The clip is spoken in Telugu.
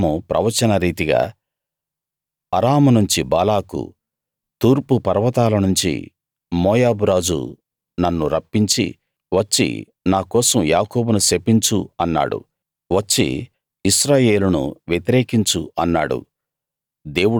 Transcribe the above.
అప్పుడు బిలాము ప్రవచనరీతిగా అరాము నుంచి బాలాకు తూర్పు పర్వతాల నుంచి మోయాబురాజు నన్ను రప్పించి వచ్చి నాకోసం యాకోబును శపించు అన్నాడు వచ్చి ఇశ్రాయేలును వ్యతిరేకించు అన్నాడు